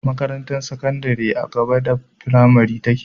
Makarantar sakandari a gaba da fimari take